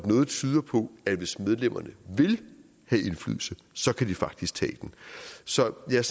noget tyder på at hvis medlemmerne vil have indflydelse så kan de faktisk tage den så jeg